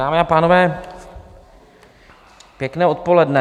Dámy a pánové, pěkné odpoledne.